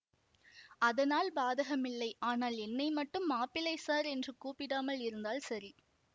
அதனால் பாதகமில்லை ஆனால் என்னை மட்டும் மாப்பிள்ளை சார் என்று கூப்பிடாமல் இருந்தால் சரி